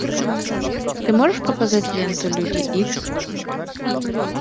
ты можешь показать ленту люди икс